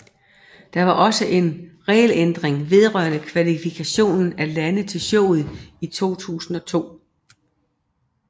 Der var også en regelændring vedrørende kvalifikationen af lande til showet i 2002